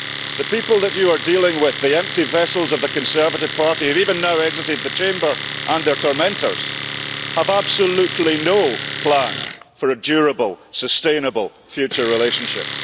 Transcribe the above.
The people that you are dealing with, the empty vessels of the Conservative Party, have even now exited the Chamber and their tormentors have absolutely no plan for a durable, sustainable future relationship.